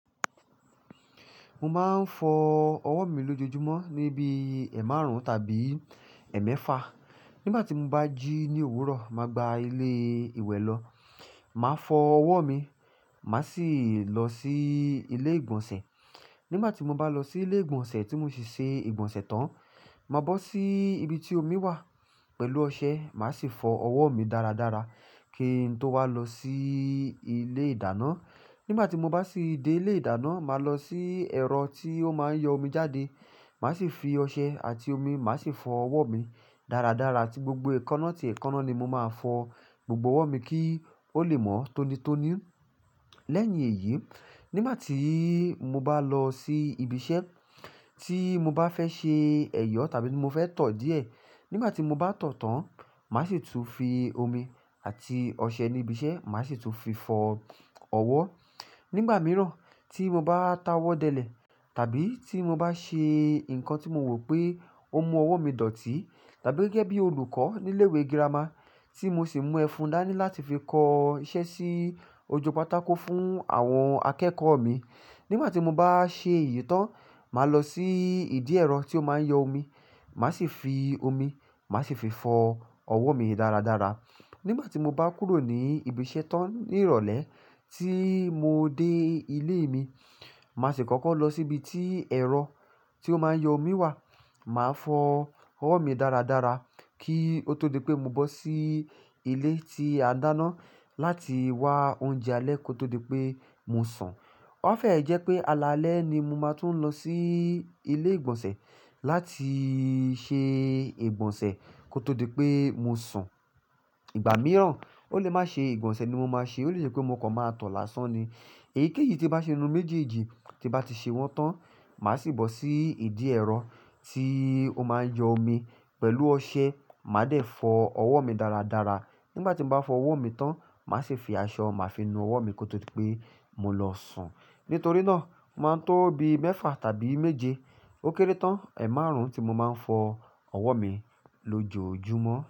Mo máa ń fọ ọwọ́ mi lójoojúmọ́ níbi ẹ̀ márùn-ún tàbí ẹ̀emẹ́fa. Nígbà tí mo bá jí ní òwúrọ̀, màá gba ilé ìwẹ̀ lọ, màá fọ ọwọ́ mi, màá sì lọ sí ilé ìgbọ̀nsẹ̀. Nígbà tí mo bá lọ sí ilé ìgbọ̀nsẹ̀ tí mo sì se ìgbọ̀nsẹ̀ tán, màá bọ́ sí ibi tí omi wà pẹ̀lú ọṣẹ, màá sì fọ ọwọ́ mi dáradára kí n tó wá lọ sí ilé ìdáná. Nígbà tí mo bá sì dé ilé ìdáná, màá lọ sí ẹ̀rọ tí ó máa ń yọ omi jáde, màá sì fi ọṣẹ àti omi, màá sì fọ ọwọ́ mi dáradára tí gbogbo èékánná tì èékánná ni mo máa fọ gbogbo ọwọ́ mi kí ó lè mọ́ tónítóní. Lẹ́yìn èyí, nígbà tí mo bá lọ sí ibi iṣẹ́ tí mo bá fẹ́ ṣe ẹ̀yọ̀ tàbí ti mo fẹ́ tọ̀ díẹ̀. Nígbà tí mo bá tọ̀ tán, màá sì tún fi omi àti ọṣẹ níbi iṣẹ́, màá sì tún fi fọ ọwọ́. Nígbà mìíràn tí mo bá tawọ́ dẹlẹ̀ tàbí tí mo bá ṣe nǹkan tí mo wò pé ó mú ọwọ́ mi dọ̀tí. Tàbí gẹ́gẹ́ bí olùkọ́ ní ilé ìwé girama tí mo sì mú ẹfun dání láti fi kọ iṣẹ́ sí ojú pátákó fún àwọn akẹ́kọ̀ọ́ mi. Nígbà tí mo bá ṣe èyí tán, màá lọ sí ìdí ẹ̀rọ tí ó máa ń yọ omi, màá sì fi omi, màá sì fi fọ ọwọ́ mi dáradára. Nígbà tí mo bá kúrò ní ibi iṣẹ́ tán ní ìrọ̀lẹ́ tí mo dé ilé mi, màá sì kọ́kọ́ lọ síbi tí ẹ̀rọ tí ó máa ń yọ omi wà, màá fọ ọwọ́ mi dáradára kí ó tó di pé mo bọ́ sí ilé tí a ń dáná láti wá oúnjẹ alẹ́ kó tó di pé mo sùn. Ó fẹ́ ẹ̀ jẹ́ pé alaalẹ́ ni mo máa tún lọ sí ilé ìgbọ̀nsẹ̀ láti ṣe ìgbọ̀nsẹ̀ kó tó di pé mo sùn. Ìgbà mìíràn ó lè má ṣe ìgbọ̀nsẹ̀ ni mo máa ṣe, ó lè ṣe pé mo kàn máa tọ̀ lásán ni. Èyíkéyìí tí n bá ṣe inú méjì jíjì tí n bá ti ṣe wọ́n tán, màá sì bọ́ sí ìdí ẹ̀rọ tí ó máa ń yọ omi pẹ̀lú ọṣẹ, màá dẹ̀ fọ ọwọ́ mi dáradára. Nígbà tí mo bá fọ ọwọ́ mi tán, màá sì fi aṣọ màá fi nu ọwọ́ mi kó tó di pé mo lọ sùn. Nítorí náà, o máa ń tóbi mẹ́fa tàbí méje ó kéré tán ẹ̀ márùn-ún tí mo máa ń fọ ọwọ́ mi lójoojúmọ́.